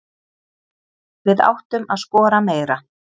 Við áttum að skora meira.